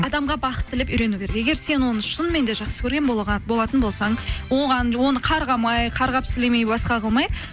адамға бақыт тілеп үйрену керек егер сен оны шынымен де жақсы көрген болатын болсаң оны қарғамай қарғап сілемей басқа қылмай